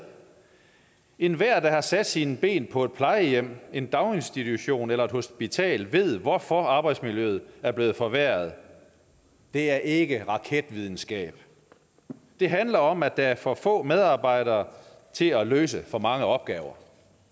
enhver der har sat sine ben på et plejehjem en daginstitution eller på et hospital ved hvorfor arbejdsmiljøet er blevet forværret det er ikke raketvidenskab det handler om at der er for få medarbejdere til at løse for mange opgaver